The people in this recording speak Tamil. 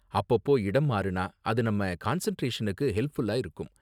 அப்பப்போ இடம் மாறுனா அது நம்ம கான்சென்டிரேஷனுக்கு ஹெல்ப்ஃபுல்லா இருக்கும்.